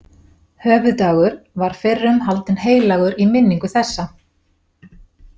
Höfuðdagur var fyrrum haldinn heilagur í minningu þessa.